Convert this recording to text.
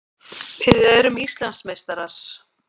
Við erum Íslandsmeistarar!